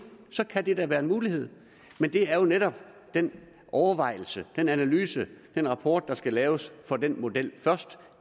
så kan det da være en mulighed men det er jo netop den overvejelse den analyse den rapport der skal laves for den model først